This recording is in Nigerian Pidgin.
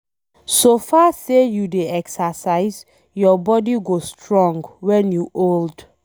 So far say you dey exercise, your body go strong wen you old